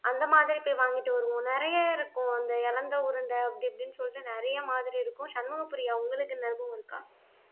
அந்த மாதிரி போய் வாங்கிட்டு வருவோம் நிறைய இருக்கும் அந்த எலந்த உருண்டை அப்படி இப்படின்னு சொல்லிட்டு நிறைய மாதிரி இருக்கும் சண்முக பிரியா உங்களுக்கு இந்த அனுபவம் இருக்கா